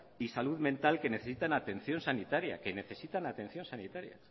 y salud mental que necesitan atención sanitaria